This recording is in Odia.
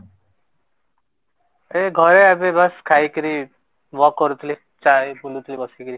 ଏ ଘରେ ଏବେ ବାସ ଖାଇ କିରି walk କରୁ ଥିଲି ବୁଲୁ ଥିଲି ବେସିକିରି